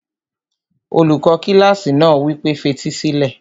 Olùkọ́ kílásì náà wí pé, fetí sílẹ̀!